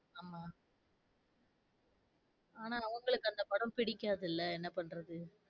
ஆமா ஆனா உங்களுக்கு அந்த படம் பிடிக்காதுல என்ன பண்றது?